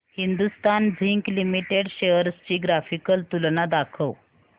Hindustan zinc limited shares ची graphical तुलना दाखव